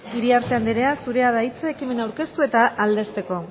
iriarte anderea zurea da hitza ekimena aurkeztu eta aldezteko